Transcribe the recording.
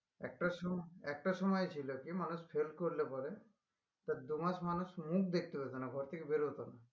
একটা সম~একটা সময় ছিল কি মানুষ fail করলে পরে তার দু মাস মানুষ মুখ দেখতে পেত না ঘর থেকে বেরত না